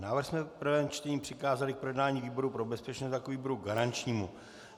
Návrh jsme v prvém čtení přikázali k projednání výboru pro bezpečnost jako výboru garančnímu.